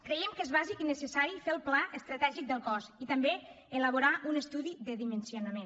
creiem que és bàsic i necessari fer el pla estratègic del cos i també elaborar un estudi de dimensionament